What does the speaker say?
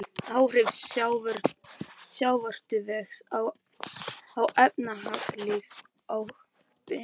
Áhrif sjávarútvegs á efnahagslíf og byggðaþróun.